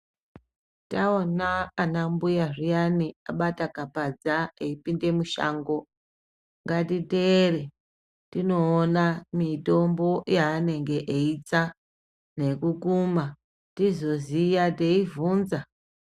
Taona ana mbuya zviyani akabata kapadza eyipinda mushango ngatiteere tinoona mitombo yaanenge eyitsa nekukuma tizoziya teivhunza.